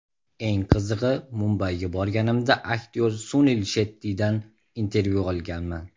Eng qizig‘i, Mumbayga borganimda aktyor Sunil Shettidan intervyu olganman.